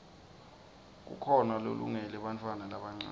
kukhona lolungele bantfwana labancane